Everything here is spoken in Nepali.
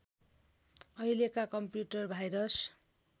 अहिलेका कम्प्युटर भाइरस